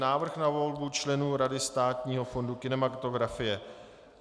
Návrh na volbu členů Rady Státního fondu kinematografie